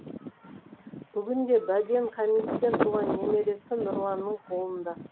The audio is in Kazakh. бүгінде бәден хамиттен туған немересі нұрланның қолында